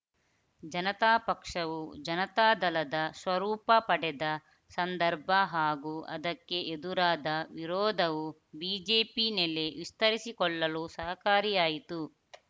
ಜನತಾ ಪಕ್ಷವು ಜನತಾದಳದ ಸ್ವರೂಪ ಪಡೆದ ಸಂದರ್ಭ ಹಾಗೂ ಅದಕ್ಕೆ ಎದುರಾದ ವಿರೋಧವು ಬಿಜೆಪಿ ನೆಲೆ ವಿಸ್ತರಿಸಿಕೊಳ್ಳಲು ಸಹಕಾರಿಯಾಯಿತು